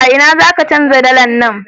A ina za ka canja dalar nan?